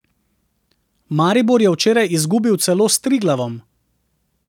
Maribor je včeraj izgubil celo s Triglavom.